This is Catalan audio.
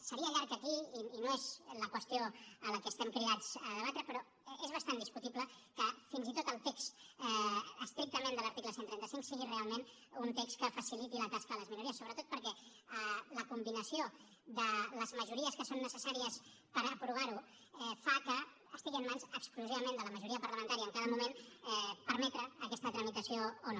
seria llarg aquí i no és la qüestió a la que estem cridats a debatre però és bastant discutible que fins i tot el text estrictament de l’article cent i trenta cinc sigui realment un text que faciliti la tasca a les minories sobretot perquè la combinació de les majories que són necessàries per aprovar ho fa que estigui en mans exclusivament de la majoria parlamentària en cada moment permetre aquesta tramitació o no